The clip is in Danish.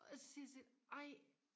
og så siger jeg til hende ej